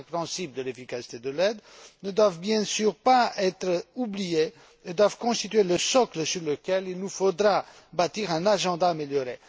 Les cinq principes de l'efficacité de l'aide ne doivent bien sûr pas être oubliés et doivent constituer le socle sur lequel nous devrons bâtir un agenda amélioré.